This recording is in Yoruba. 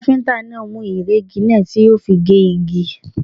Káfíntà náà mú ìrẹ́gi náà tí yóò fi gé igi.